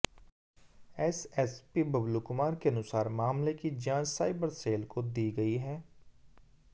SSP Bablu Kumar के अनुसार मामले की जांच साइबर सेल को दी गई है